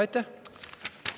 Aitäh!